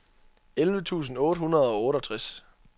elleve tusind otte hundrede og otteogtres